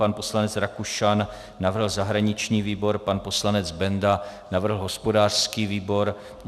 Pan poslanec Rakušan navrhl zahraniční výbor, pan poslanec Benda navrhl hospodářský výbor.